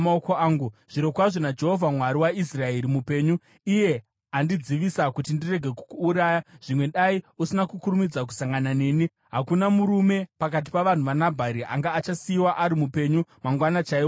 Zvirokwazvo naJehovha Mwari waIsraeri mupenyu, iye andidzivisa kuti ndirege kukuuraya, zvimwe dai usina kukurumidza kusangana neni, hakuna murume pakati pavanhu vaNabhari anga achasiyiwa ari mupenyu mangwana chaiwo kuchiedza.”